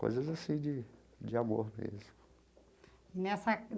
Coisas, assim, de de amor mesmo. E